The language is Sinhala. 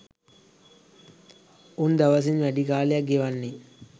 උන් දවසින් වැඩි කාලයක් ගෙවන්නේ